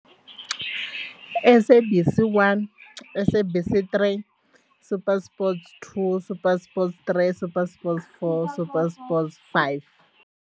SABC 1, SABC 3, SuperSport two, SuperSport three, SuperSport four, SuperSport five.